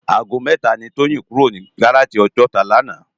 Àgó mètá ni Toyin kúró ni gáráji Òjòtá làná